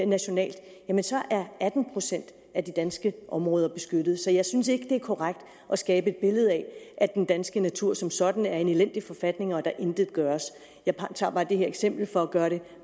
nationalt er atten procent af de danske områder beskyttet så jeg synes ikke det er korrekt at skabe et billede af at den danske natur som sådan er i en elendig forfatning og at der intet gøres jeg tager bare det her eksempel for at gøre det